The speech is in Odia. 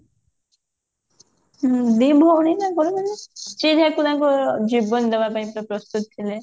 ହୁଁ ଦି ଭଉଣୀ ତାଙ୍କର ମାନେ ଯିଏ ଯାହାକୁ ତାଙ୍କ ଜୀବନ ଦବା ପାଇଁ ପୁରା ପ୍ରସ୍ତୁତ ଥିବେ